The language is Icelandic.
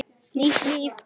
Nýtt líf.